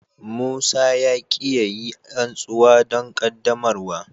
Musa ya ki ya yi rantsuwa don qaddamarwa.